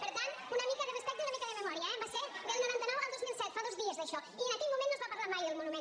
per tant una mica de respecte i una mica de memòria eh va ser del noranta nou al dos mil set fa dos dies d’això i en aquell moment no es va parlar mai del monument